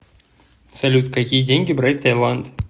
салют какие деньги брать в таиланд